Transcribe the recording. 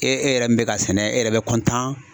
E e yɛrɛ min bɛ k'a sɛnɛ , e yɛrɛ bɛ